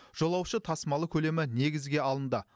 жолаушы тасымалы көлемі негізге алынды